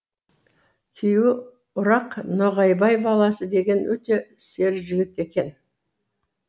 күйеуі ұрақ ноғайбай баласы деген өте сері жігіт екен